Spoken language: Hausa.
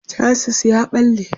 chasis ya ɓalle